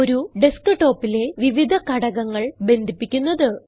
ഒരു ഡെസ്ക്ടോപ്പിലെ വിവിധ ഘടകങ്ങൾ ബന്ധിപ്പിക്കുന്നത്